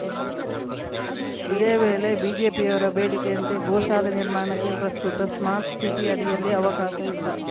ಇದೇವೇಳೆ ಬಿಜೆಪಿಯವರ ಬೇಡಿಕೆಯಂತೆ ಗೋಶಾಲೆ ನಿರ್ಮಾಣಕ್ಕೆ ಪ್ರಸ್ತುತ ಸ್ಮಾರ್ಟ್‌ ಸಿಟಿ ಅಡಿಯಲ್ಲಿ ಅವಕಾಶವಿಲ್ಲ